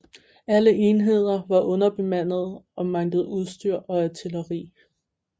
Alle enheder var underbemandede og manglede udstyr og artilleri